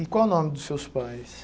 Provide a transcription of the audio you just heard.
E qual o nome dos seus pais?